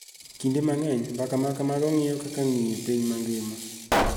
Kinde mang�eny. mbaka ma kamago ng�iyo kaka ng�iyo piny mangima.